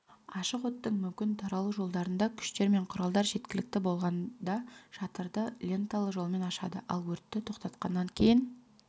ашық оттың мүмкін таралу жолдарында күштер мен құралдар жеткілікті болғанда шатырды ленталы жолмен ашады ал өртті тоқтатқаннан кейін